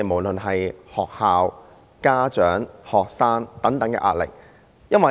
現時，學校、家長和學生等都面對很大的壓力。